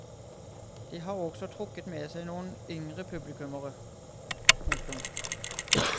De har også trukket med seg noen yngre publikummere. punktum